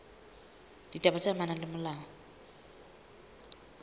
ditaba tse amanang le molao